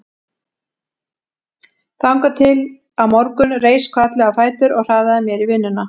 Þangað til á morgun reis hvatlega á fætur og hraðaði mér í vinnuna.